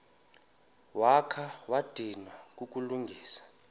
wakha wadinwa kukulungisa